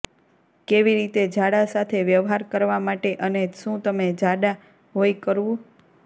કેવી રીતે ઝાડા સાથે વ્યવહાર કરવા માટે અને શું તમે ઝાડા હોય કરવું